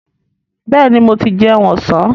Bẹ́ẹ̀ni, mo ti jẹun ọ̀sán.